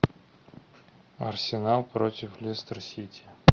арсенал против лестер сити